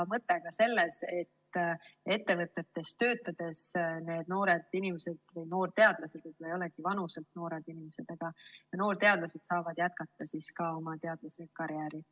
Mõte on ka selles, et ettevõtetes töötades need noored inimesed või noorteadlased, kes võib-olla ei olegi vanuselt noored inimesed, saaksid jätkata oma teadlasekarjääri.